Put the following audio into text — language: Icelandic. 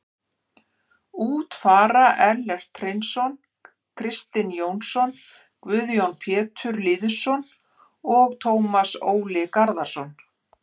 Út fara Ellert Hreinsson, Kristinn Jónsson, Guðjón Pétur Lýðsson og Tómas Ól Garðarsson.